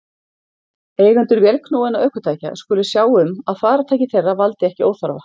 Eigendur vélknúinna ökutækja skulu sjá um að farartæki þeirra valdi ekki óþarfa